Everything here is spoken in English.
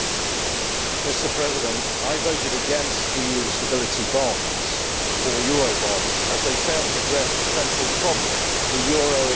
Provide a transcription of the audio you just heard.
Mr President, I voted against EU stability bonds, or Eurobonds, as they fail to address the central problem the euro itself.